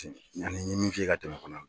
yanni n y'i min f'i ye ka tɛmɛ fana.